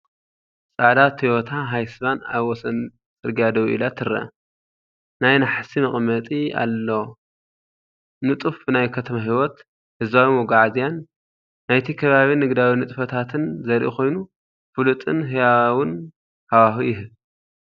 ጻዕዳ ቶዮታ ሃይስ ቫን ኣብ ወሰን ጽርግያ ደው ኢላ ትርአ። ናይ ናሕሲ መቐመጢ ኣለዎ። ንጡፍ ናይ ከተማ ህይወት፡ ህዝባዊ መጓዓዝያን ናይቲ ከባቢ ንግዳዊ ንጥፈታትን ዘርኢ ኮይኑ፡ ፍሉጥን ህያውን ሃዋህው ይህብ፡፡